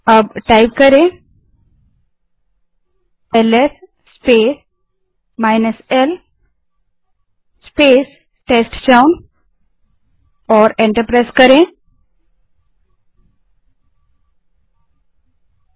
अब LS space l space t e s t c h o w N type करें और enter दबायें